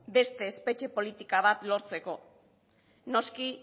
beste espetxe politika bat lortzeko noski